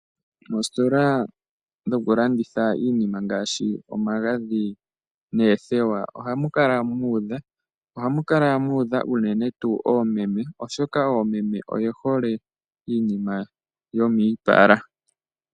Oositola dhoku landitha iinima ngaashi omagadhi noothewa, ohamu kala mu udha. Ohamu kala mu udha unene tuu oomeme, oshoka oomeme oye hole iinima yomiipala.